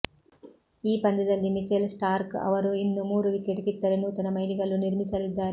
ಈ ಪಂದ್ಯದಲ್ಲಿ Mitchell Starc ಅವರು ಇನ್ನು ಮೂರು ವಿಕೆಟ್ ಕಿತ್ತರೆ ನೂತನ ಮೈಲಿಗಲ್ಲು ನಿರ್ಮಿಸಲಿದ್ದಾರೆ